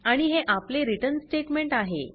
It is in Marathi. आणि हे आपले रिटर्न स्टेटमेंट आहे